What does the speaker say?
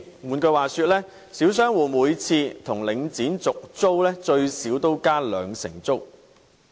換言之，小商戶每次跟領展續租，最少也要加租兩成。